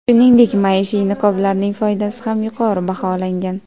Shuningdek, maishiy niqoblarning foydasi ham yuqori baholangan.